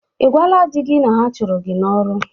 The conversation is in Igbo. Ị gwala di gị na ha chụrụ gị n'ọrụ?